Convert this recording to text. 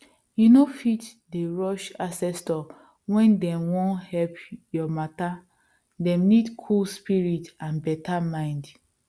you no fit dey rush ancestor when dem wan help your matter dem need cool spirit and beta mind